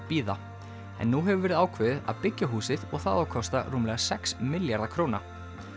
bíða en nú hefur verið ákveðið að byggja húsið og það á að kosta rúmlega sex milljarða króna